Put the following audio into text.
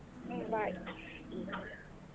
ಹ್ಮ್ bye .